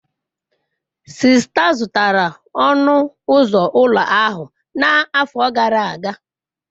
Sista zụtara ọnụ ụzọ ụlọ ahụ n'afọ gara aga.